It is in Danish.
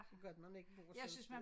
Det godt man ikke bor sådan et sted